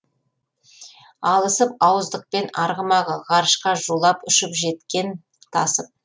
алысып ауыздықпен арғымағы ғарышқа зулап ұшып жеткен тасып